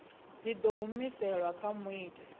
dzi ḓo humiselwa kha muiti